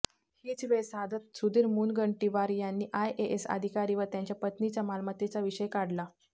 हीच वेळ साधत सुधीर मुनगंटीवार यांनी आयएएस अधिकारी व त्यांच्या पत्नीच्या मालमत्तेचा विषय काढला